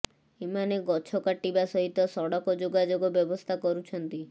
ଏମାନେ ଗଛ କାଟିବା ସହିତ ସଡକ ଯୋଗାଯୋଗ ବ୍ୟବସ୍ଥା କରୁଛନ୍ତି